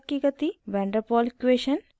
* van der pol equation